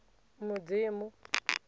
mudzimu